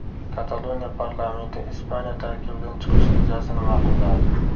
Kataloniya parlamenti Ispaniya tarkibidan chiqish rejasini ma’qulladi.